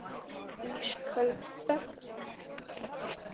Ísköld þögnin.